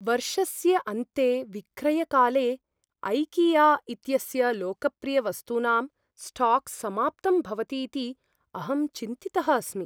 वर्षस्य अन्ते विक्रयकाले ऐकिया इत्यस्य लोकप्रियवस्तूनां स्टाक् समाप्तं भवतीति अहं चिन्तितः अस्मि।